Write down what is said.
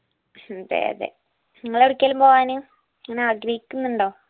അതെ അതെ ഇങ്ങളെടെക്കെങ്കിലും പോകാൻ ഇങ്ങന ആഗ്രഹിക്കുന്നുണ്ടോ